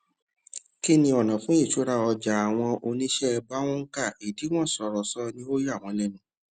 kíni ọnà fún ìṣura ọjà àwọn oníṣẹ bá oùnkà ìdíwọn sọrọ ṣọ ní ó yà wọn lẹnu